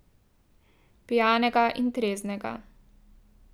Pijanega in treznega.